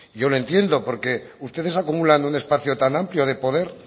yo le entiendo porque ustedes acumulan un espacio tan amplio de poder